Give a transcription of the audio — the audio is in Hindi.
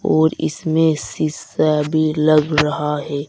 और इसमें सीसा भी लग रहा है।